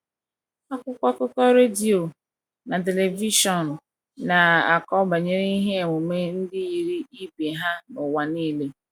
Akwụkwọ akụkọ, redio, na telivishọn na - akọ banyere ihe emume ndi yiri ibe ha n’ụwa nile.